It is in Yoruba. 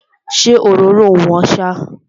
Ṣé òróró ò wọ́n ṣá?